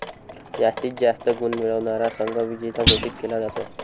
जास्तीत जास्त गुण मिळवणारा संघ विजेता घोषित केला जातो.